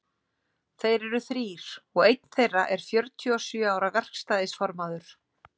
Þeir eru þrír, og einn þeirra er fjörutíu og sjö ára verkstæðisformaður.